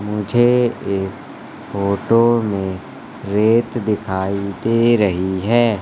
मुझे इस फोटो में रेत दिखाई दे रही है।